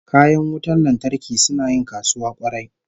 Kayan wutan lantarki suna yin kasuwa kwarai